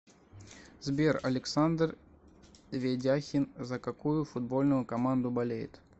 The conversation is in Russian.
сбер александр ведяхин за какую футбольную команду болеет